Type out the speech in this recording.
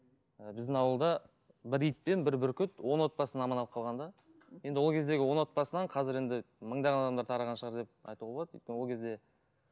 і біздің ауылда бір ит пен бір бүркіт он отбасын аман алып қалған да енді ол кездегі он отбасынан қазір енді мыңдаған адамдар тараған шығар деп айтуға болады өйткені ол кезде